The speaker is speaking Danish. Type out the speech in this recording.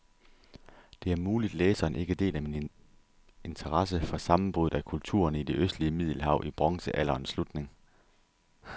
Det er muligt, læseren ikke deler min interesse for sammenbruddet af kulturerne i det østlige middelhav i bronzealderens slutning.